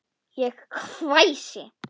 Ég hvæsi.